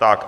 Tak.